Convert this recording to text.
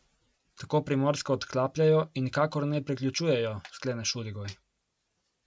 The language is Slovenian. Tako Primorsko odklapljajo in nikakor ne priključujejo, sklene Šuligoj.